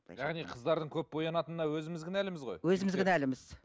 яғни қыздардың көп боянатынына өзіміз кінәліміз ғой өзіміз кінәліміз